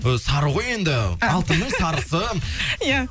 ы сары ғой енді алтынның сарысы иә